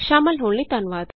ਸ਼ਾਮਲ ਹੋਣ ਲਈ ਧੰਨਵਾਦ